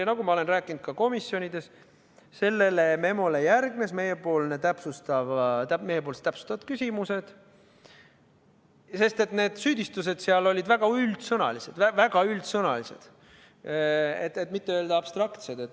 Ja nagu ma olen rääkinud ka komisjonides, sellele memole järgnesid meiepoolsed täpsustavad küsimused, sest need süüdistused seal olid väga üldsõnalised, kui mitte öelda abstraktsed.